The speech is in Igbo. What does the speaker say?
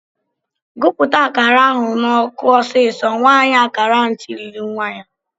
"Gụpụta akara ahụ n'ọkụ ọsịsọ!" Nwaanyị akara ahụ tirile nwa ya.